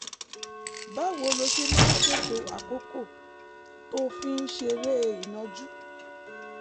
báwo lo ṣe máa ń ṣètò àkókò tó o fi ń ṣeré ìnàjú?